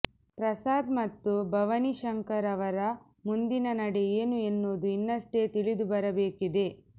ಪ್ರಸಾದ್ ಮತ್ತು ಭವಾನಿಶಂಕರ್ ಅವರ ಮುಂದಿನ ನಡೆ ಏನು ಎನ್ನುವುದು ಇನ್ನಷ್ಟೇ ತಿಳಿದುಬರಬೇಕಿದೆ